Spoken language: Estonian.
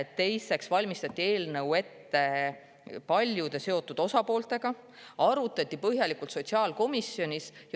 Teiseks valmistati eelnõu ette koos paljude seotud osapooltega, seda arutati põhjalikult sotsiaalkomisjonis.